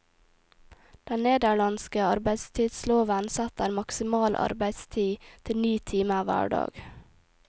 Den nederlandske arbeidstidsloven setter maksimal arbeidstid til ni timer hver dag.